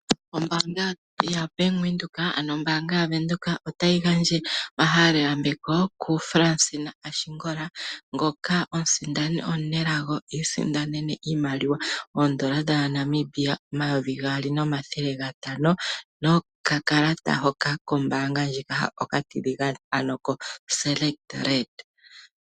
Ombaanga yaBank Windhoek, otayi gandja oma halelo yambeko kuFransina Ashingola, ngoka omusindani omunelago ngoka a sindana oshimaliwa oondola dhaNamibia omayovi gaali nomathele gatano ,nokakalata hoka kombaanga ndjika okatiligane ano koSelekt Red.